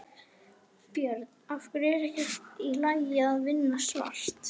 Björn: Af hverju er ekki í lagi að vinna svart?